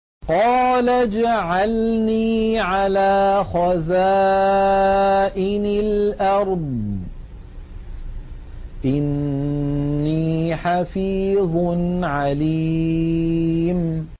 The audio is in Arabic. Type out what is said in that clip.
قَالَ اجْعَلْنِي عَلَىٰ خَزَائِنِ الْأَرْضِ ۖ إِنِّي حَفِيظٌ عَلِيمٌ